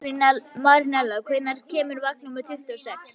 Marinella, hvenær kemur vagn númer tuttugu og sex?